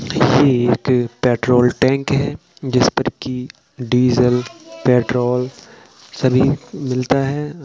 ये एक petrol tank है जिस पर की डीजल पेट्रोल सभी मिलता है।